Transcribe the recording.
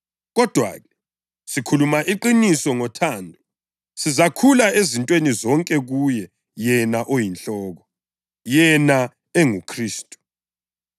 Kodwa-ke, sikhuluma iqiniso ngothando, sizakhula ezintweni zonke kuye yena oyiNhloko, yena enguKhristu.